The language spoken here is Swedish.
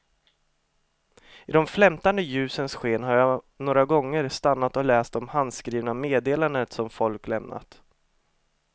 I de flämtande ljusens sken har jag några gånger stannat och läst de handskrivna meddelandena som folk lämnat.